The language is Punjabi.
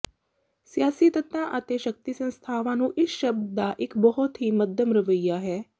ਸਿਆਸੀ ਤੱਤਾਂ ਅਤੇ ਸ਼ਕਤੀ ਸੰਸਥਾਵਾਂ ਨੂੰ ਇਸ ਸ਼ਬਦ ਦਾ ਇਕ ਬਹੁਤ ਹੀ ਮੱਧਮ ਰਵੱਈਆ ਹੈ